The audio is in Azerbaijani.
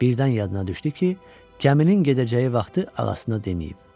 Birdən yadına düşdü ki, gəmilinin gedəcəyi vaxtı ağasına deməyib.